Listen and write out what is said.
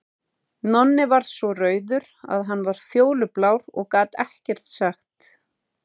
Nonni varð svo rauður að hann varð fjólublár og gat ekkert sagt.